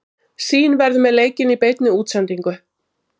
Sýn verður með leikinn í beinni útsendingu.